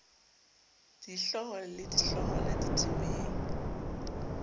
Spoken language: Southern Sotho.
dihlooho le di hloohwana ditemeng